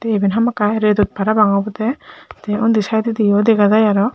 te evan hamaki redot parapang obode te undi sidedodi o dega jai aro.